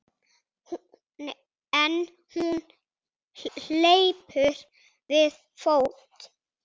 En hún hleypur við fót.